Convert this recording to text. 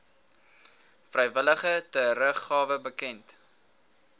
vrywillige teruggawe bekend